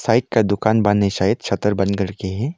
Bike का दुकान बन है सायद छतर बंद करके है।